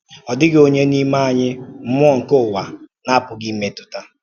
Ọ dịghị onye n’ime anyị mmụọ nke ụwa na-apụghị imetụta.